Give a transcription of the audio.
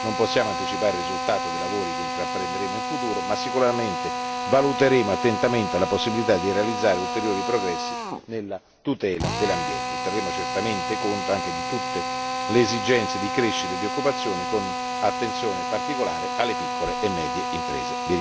Non possiamo anticipare il risultato dei lavori che intraprenderemo in futuro, ma sicuramente valuteremo attentamente la possibilità di realizzare ulteriori progressi nella tutela dell'ambiente e terremo certamente conto anche di tutte le esigenze di crescita e di occupazione, con attenzione particolare alle piccole e medie imprese.